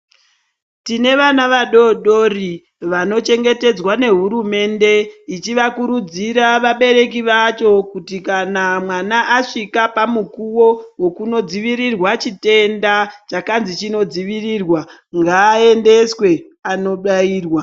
Tine vana vadodori vanochengetedzwa nehurumende, ichivakurudzira vabereki vacho kuti kana mwana asvika pamukuwo wekunodzivirirwa chitenda chakanzi chinodzivirirwa ,ngaendeswe anobayirwa.